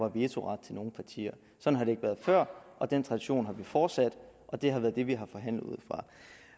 vetoret til nogen partier sådan har det ikke været før og den tradition har vi fortsat og det har været det vi har forhandlet ud fra